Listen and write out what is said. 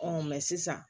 Ɔn sisan